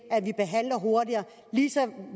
at vi behandler hurtigere